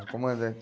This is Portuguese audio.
O comandante